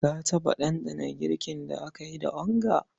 Ka taɓa ɗanɗana girkin da aka yi da onga?